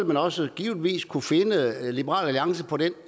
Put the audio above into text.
man også givetvis kunne finde liberal alliance på den